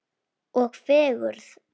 Og fegurð.